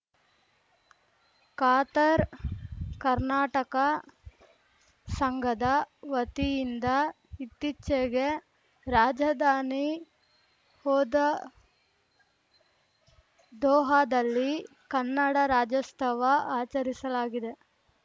Qatar Karnataka ಸಂಘದ ವತಿಯಿಂದ ಇತ್ತೀಚಿಗೆ ರಾಜಧಾನಿ ಹೋದಾ ದೋಹಾದಲ್ಲಿ ಕನ್ನಡ ರಾಜ್ಯೋಸ್ತವ ಆಚರಿಸಲಾಗಿದೆ